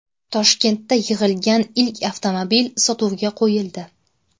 Toshkentda yig‘ilgan ilk avtomobil sotuvga qo‘yildi.